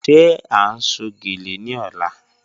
Ṣé à n sọ̀ gẹ́lẹ̀ ní ọ̀là?